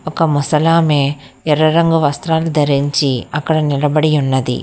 ఒక ముసలామె ఎర్ర రంగు వస్త్రాలు ధరించి అక్కడ నిలబడి ఉన్నది.